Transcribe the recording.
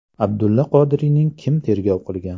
Abdulla Qodiriyni kim tergov qilgan?